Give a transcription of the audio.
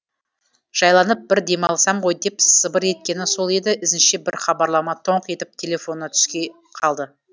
жайланып бір демалсам ғой деп сыбыр еткені сол еді ізінше бір хабарлама тоңқ етіп телефонына түсе қалды